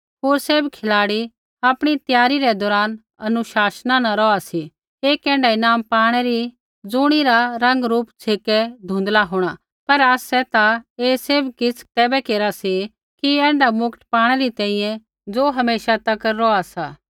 होर सैभ खिलाड़ी आपणी त्यारी रै दौरान अनुशासना न रौहा सी एक ऐण्ढा ईनाम पाणै री ज़ुणिरा रंग रूप छ़ेकै धुँधला होंणा पर आसै ता ऐ सैभ किछ़ तैबै केरा सी ऐण्ढा मुकट पाणै री तैंईंयैं ज़ो हमेशा तक रौहा सा